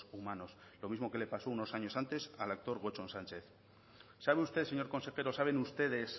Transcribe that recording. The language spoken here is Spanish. humanos lo mismo que le pasó unos años antes al actor gotzon sánchez sabe usted señor consejero saben ustedes